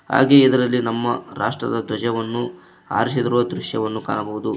ಹಾಗೆ ಇದರಲ್ಲಿ ನಮ್ಮ ರಾಷ್ಟ್ರದ ಧ್ವಜವನ್ನು ಹಾರಿಸಿರುವ ದೃಶ್ಯವನ್ನು ಕಾಣಬಹುದು.